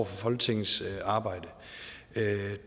folketingets arbejde